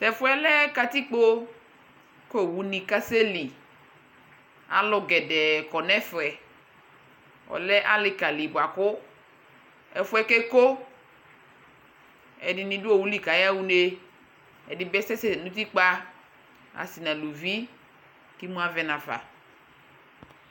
Tɛ fu yɛ lɛ kati kpo ku owu ni kasɛli Alu poo kɔ nu ɛfɛ Ɔlɛ ali ka li bua ku ɛfu yɛ keeko Ɛdini du owuli ku ayaɣa une Ɛdini bi kasɛ nu utikpa asi nu aluvi ku emu avɛ nu afa